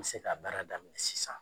N bɛ se ka baara daminɛ sisan.